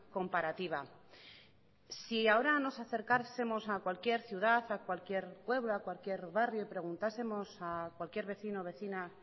comparativa si ahora nos acercásemos a cualquier ciudad a cualquier pueblo a cualquier barrio y preguntásemos a cualquier vecino o vecina